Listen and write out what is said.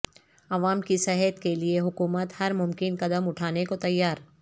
عوام کی صحت کے لئے حکومت ہر ممکن قدم اٹھانے کو تیار